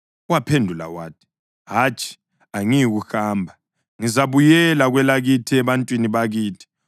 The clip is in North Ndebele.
Waphendula wathi, “Hatshi, angiyikuhamba, ngizabuyela kwelakithi ebantwini bakithi.”